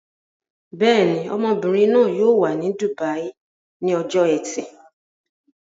Bẹ́ẹ̀ ni, ọmọbìnrin náà yóò wà ní dùbàí ní ọjọ́ ẹtì.